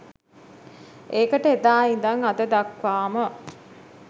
ඒකට එදා ඉඳන් අද දක්වාම